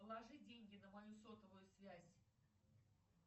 положи деньги на мою сотовую связь